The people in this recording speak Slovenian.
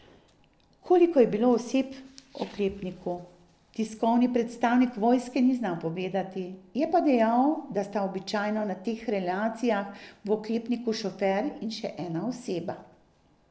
Koliko je bilo oseb v oklepniku, tiskovni predstavnik vojske ni znal povedati, je pa dejal, da sta običajno na teh relacijah v oklepniku šofer in še ena oseba.